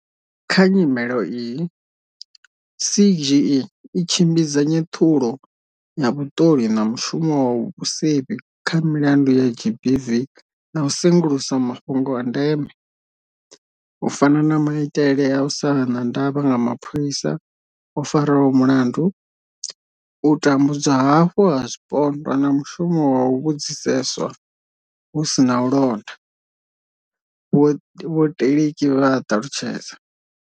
Kha nyimelo iyi, CGE i tshimbidza nyeṱhulo ya vhuṱoli na mushumo wa vhusevhi kha milandu ya GBV na u sengulusa mafhungo a ndeme, u fana na maitele a u sa vha na ndavha nga mapholisa o faraho mulandu, u tambudzwa hafhu ha zwipondwa na mushumo wa u vhudziseswa hu sina u londa, vho Teleki vha a ṱalutshedza.